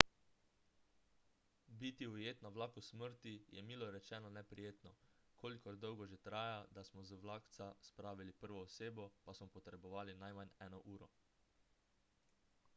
biti ujet na vlaku smrti je milo rečeno neprijetno kolikor dolgo že traja da smo z vlakca spravili prvo osebo pa smo potrebovali najmanj eno uro